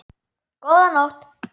Góða nótt.